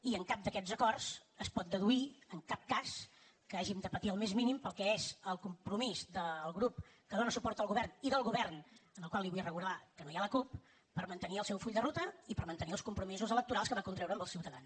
i en cap d’aquests acords es pot deduir en cap cas que hàgim de patir el més mínim pel que és el compromís del grup que dóna suport al govern i del govern en el qual li vull recordar que no hi ha la cup per mantenir el seu full de ruta i per mantenir els compromisos electorals que va contraure amb els ciutadans